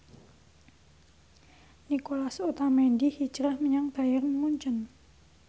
Nicolas Otamendi hijrah menyang Bayern Munchen